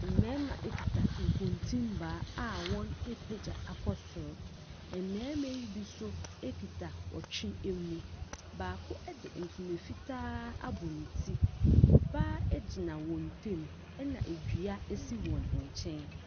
Mmarima kita nkotimma a wɔapegya akɔ so. Mmarima yi bi nso kita ɔtwe mu. Baako de ntoma fitaa abɔ ne ti. Ɔbaa egyina wɔn ntam, na dua si wɔn nkyɛn.